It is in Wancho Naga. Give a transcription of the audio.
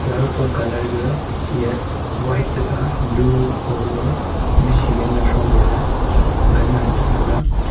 aga pot colour ga yah white tega blue magaga bishiley ngan throm laley gan ngantong taiga.